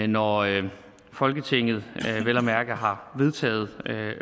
når folketinget vel at mærke har vedtaget